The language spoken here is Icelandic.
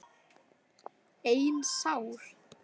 Ein sár.